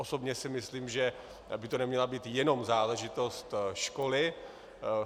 Osobně si myslím, že by to neměla být jenom záležitost školy.